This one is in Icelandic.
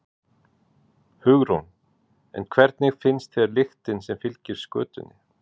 Hugrún: En hvernig finnst þér lyktin sem fylgir skötunni?